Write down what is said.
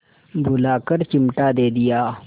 बुलाकर चिमटा दे दिया